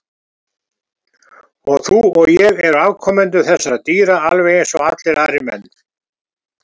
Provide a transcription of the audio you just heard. Og þú og ég eru afkomendur þessara dýra alveg eins og allir aðrir menn.